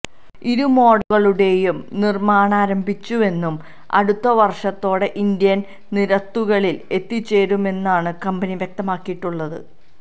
ഇരു മോഡലുകളുടേയും നിർമാണമാരംഭിച്ചുവെന്നും അടുത്ത വർഷത്തോടെ ഇന്ത്യൻ നിരത്തുകളിൽ എത്തിച്ചേരുമെന്നുമാണ് കമ്പനി വ്യക്തമാക്കിയിട്ടുള്ളത്